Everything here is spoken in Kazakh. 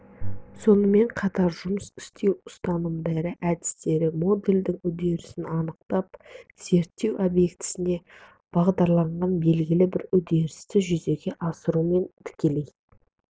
сонымен қатар жұмыс істеу ұстанымдары әдістері модельдің үдерісін анықтап зерттеу объектісіне бағдарланған белгілі бір үдерісті жүзеге асырумен тікелей